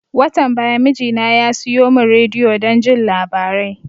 Watan baya mijina ya siyo mun rediyo don jin labarai